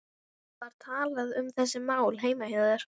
Eigum við einhverja von í riðlinum?